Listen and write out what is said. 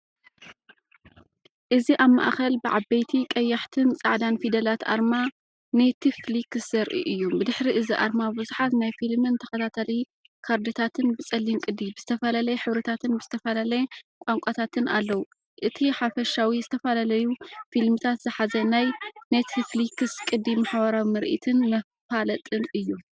እዚ ኣብ ማእከል ብዓበይቲ ቀያሕትን ጻዕዳን ፊደላት ኣርማ ኔትፍሊክስ ዘርኢ እዩ። ብድሕሪ እዚ ኣርማ ብዙሓት ናይ ፊልምን ተኸታታሊ ካርድታትን ብጸሊም ቅዲ፡ብዝተፈላለየ ሕብርታትን ብዝተፈላለየ ቋንቋታትን ኣለዉ። እቲ ሓፈሻዊ ዝተፈላለዩ ፊልምታት ዝሓዘ ናይ ኔትፍሊክስ ቅዲ ማሕበራዊ ምርኢትን መፋለጥን እዩ።